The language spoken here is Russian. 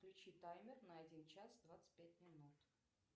включи таймер на один час двадцать пять минут